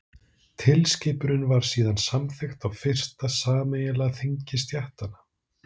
tilskipunin var síðan samþykkt á fyrsta sameiginlega þingi stéttanna